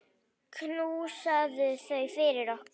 Knúsaðu þau fyrir okkur.